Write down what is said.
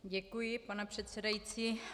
Děkuji, pane předsedající.